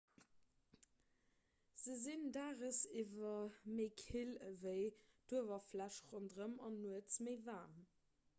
se sinn daagsiwwer méi kill ewéi d'uewerfläch ronderëm an nuets méi waarm